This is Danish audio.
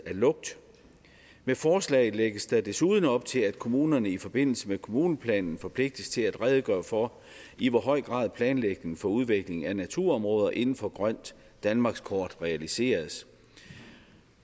lugt med forslaget lægges der desuden op til at kommunerne i forbindelse med kommuneplanen forpligtes til at redegøre for i hvor høj grad planlægning for udvikling af naturområder inden for grønt danmarkskort realiseres